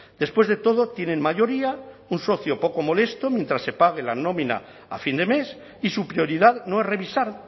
después de todo tienen mayoría un socio poco molesto mientras se pague la nómina a fin de mes y su prioridad no es revisar